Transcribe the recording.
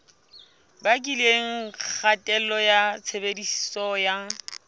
bakileng kgatello ya tshebediso ya